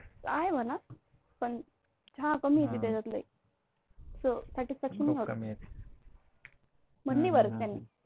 आहे मना, पन चहा कमी येते त्याच्यामध्ये त्यामुळे Satisfaction नाही होत मन नाही भरत त्यांनी.